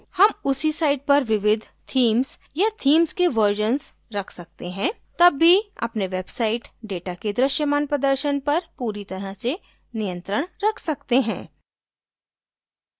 हम उसी site पर विविध themes या themes के versions रख सकते हैं तब भी अपने वेबसाइट डेटा के दृश्यमान प्रदर्शन पर पूरी तरह से नियंत्रण रख सकते हैं